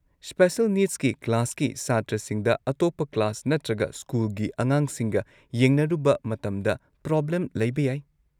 Special ꯅꯤꯗꯁꯀꯤ ꯀ꯭ꯂꯥꯁꯀꯤ ꯁꯥꯇ꯭ꯔꯁꯤꯡꯗ ꯑꯇꯣꯞꯄ ꯀ꯭ꯂꯥꯁ ꯅꯠꯇ꯭ꯔꯒ ꯁ꯭ꯀꯨꯜꯒꯤ ꯑꯉꯥꯡꯁꯤꯡꯒ ꯌꯦꯡꯅꯔꯨꯕ ꯃꯇꯝꯗ ꯄ꯭ꯔꯣꯕ꯭ꯂꯦꯝ ꯂꯩꯕ ꯌꯥꯏ꯫